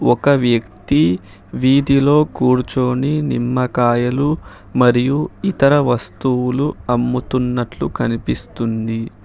ఒక్క వ్యక్తి వీధిలో కూర్చొని నిమ్మకాయలు మరియు ఇతర వస్తువులు అమ్ముతున్నట్లు కనిపిస్తుంది.